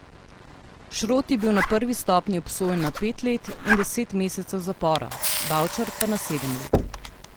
Šrot je bil na prvi stopnji obsojen na pet let in deset mesecev zapora, Bavčar pa na sedem let.